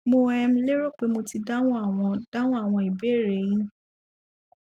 mo um lérò pé mo ti dáhùn àwọn dáhùn àwọn ìbéèrè e yín